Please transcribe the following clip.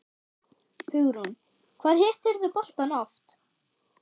Hugrún: Hvað hittirðu boltann oft?